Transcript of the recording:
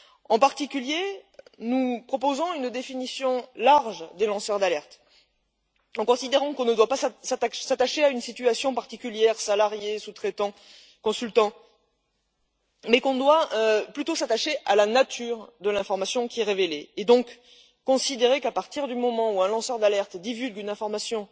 En particulier, nous proposons une définition large des lanceurs d'alerte, en considérant que nous ne devons pas nous attacher à une situation particulière salariés, sous traitants, consultants mais plutôt à la nature de l'information qui est révélée, et donc considérer qu'à partir du moment où un lanceur d'alerte divulgue une information